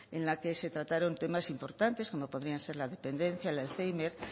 en la que se trataron temas importares como podrían ser la dependencia el alzhéimer